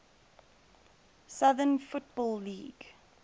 southern football league